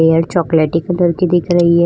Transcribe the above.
Layer चॉकलेटी colour की दिख रही है।